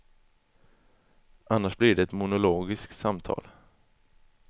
Annars blir det ett monologiskt samtal.